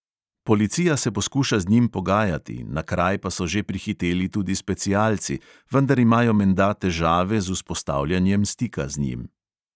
Policija se poskuša z njim pogajati, na kraj pa so že prihiteli tudi specialci, vendar imajo menda težave z vzpostavljanjem stika z njim.